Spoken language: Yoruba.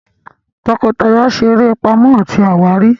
tọkọtaya ṣe eré Pàmò àti àwárí.